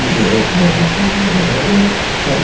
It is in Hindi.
ये बहु रवि है।